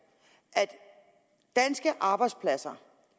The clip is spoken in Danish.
at danske arbejdspladser